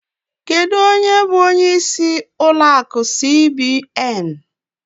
Kedụ ónyé bụ ónyé ịsị ụlọ akụ cbn?